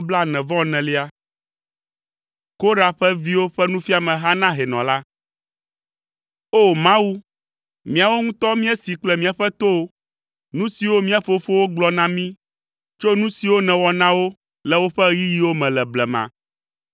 Korah ƒe viwo ƒe nufiameha na hɛnɔ la. O! Mawu, míawo ŋutɔ míesee kple míaƒe towo, nu siwo mía fofowo gblɔ na mí tso nu siwo nèwɔ na wo le woƒe ɣeyiɣiwo me le blema.